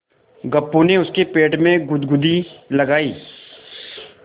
गप्पू ने उसके पेट में गुदगुदी लगायी